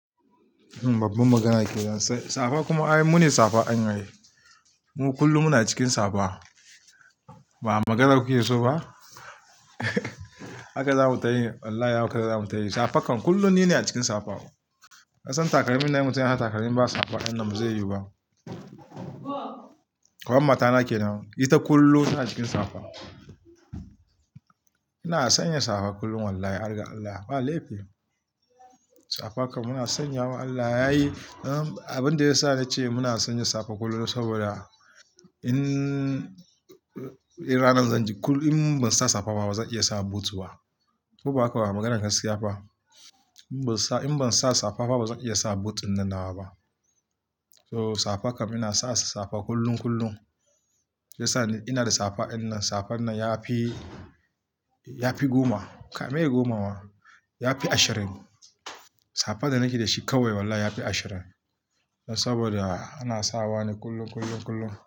Babban magana kenan, safa kuma ai mune safa ai. Mu kullum muna cikin safa. Ba maganarka ke so ba? Haka zamu tayi. Wallahi haka zamu tayi. Safakan. Kullum nine a cikin safa. Ka san takalmin ne, mutum ya sa takalmi ba safa wannan bazai yuba. Kaman matana ke nan, ita kullum tana cikin safa. Ina sanya safa kullum wallahi, harga Allah ba laifi. Safakan muna sanya wa Allah yayi. Abin da ya sa nace muna sanya safa kullum saboda in ranan zan ji kullum, in ban sa safa ba bazan iya sa boot ba. Koba haka ba maganar gaskiya ba In ban sa safa ba bazan iya sa boot dinnan nawa ba. So safakan ina sa safa kullum kullum. Ya sa ina da safa wannan, safan nan ya fi, ya fi goma. Kai me goma ma, ya fi ashirin. Safa da nake da shi kawai wallahi ya fi ashirin. Saboda ana sawa ne kullum, kullum, kullum.